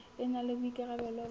e na le boikarabelo ba